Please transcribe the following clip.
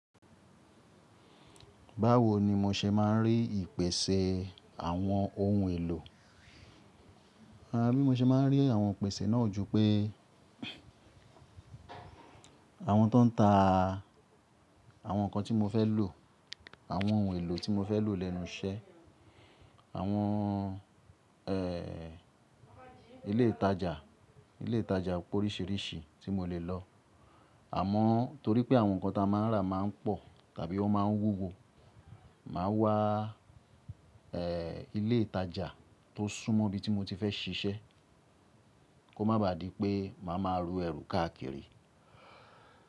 Báwo ni mo ṣe máa ń rí ìpèsè àwọn ohun èlò? Rárá, bí mo ṣe máa ń rí àwọn ìpèsè náà ju pé àwọn tó ń ta àwọn nǹkan tí mo fẹ́ lò, àwọn ohun èlò tí mo fẹ́ lò lẹ́nu iṣẹ́, àwọn, ẹ́, ilé ìtajà, ilé ìtajà poríṣìíríṣìí tí mo lè lọ. Àmọ́ torí pé àwọn nǹkan tí a máa ń rà máa ń pọ̀ tàbí ó máa ń wúwo, màá wá, ẹ́, ilé ìtajà tó sún mọ́ ibi tí mo ti fẹ́ ṣiṣẹ́, kó má baà di pé màá máa ru ẹrù káàkiri.